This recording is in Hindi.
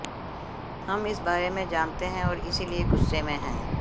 हम इस बारे में जानते हैं और इसीलिए गुस्से में हैं